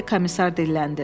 deyə komissar dilləndi.